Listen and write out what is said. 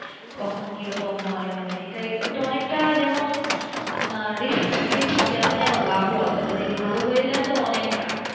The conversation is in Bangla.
কখন কিরকম হয় মানে এটাই ওটা অনেকটা যেমন আপনার Risk থাকে তেমনি আবার লোভও আছে যদি ভালো হয়ে যাই তো অনেক টা।